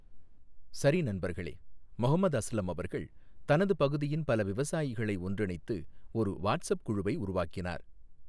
சரி நண்பர்களே, மொஹம்மத் அஸ்லம் அவர்கள் தனது பகுதியின் பல விவசாயிகளை ஒன்றிணைத்து ஒரு வாட்ஸப் குழுவை உருவாக்கினார்.